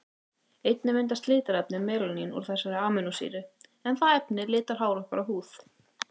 Einnig myndast litarefnið melanín úr þessari amínósýru, en það efni litar hár okkar og húð.